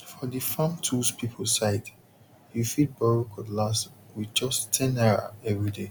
for the farm tools people side you fit borrow cutlass with just ten naira every day